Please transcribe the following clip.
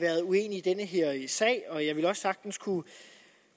været uenige i den her sag og jeg vil også sagtens kunne